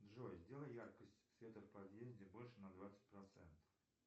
джой сделай яркость света в подъезде больше на двадцать процентов